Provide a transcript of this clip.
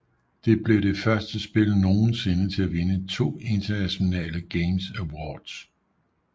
Det blev det første spil nogensinde til at vinde to International Gamers Awards